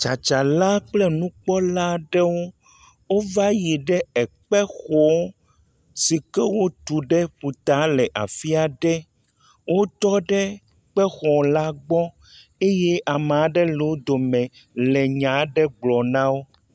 tsatsala kple eŋukpɔla ɖewo wó va yi ɖe ekpe xɔ sike wótu ɖe ƒuta le afiaɖe wótɔ ɖe kpexɔ la gbɔ eye ame aɖe le wógbɔ le nyaɖe gblɔm nawo